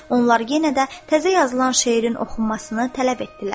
Onlar yenə də təzə yazılan şeirin oxunmasını tələb etdilər.